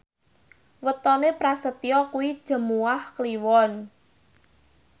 wetone Prasetyo kuwi Jumuwah Kliwon